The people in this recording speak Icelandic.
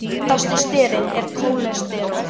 Þekktasti sterinn er kólesteról.